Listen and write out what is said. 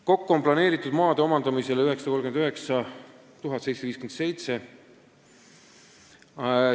Kokku on plaanitud maade omandamisele kulutada 939 757 eurot.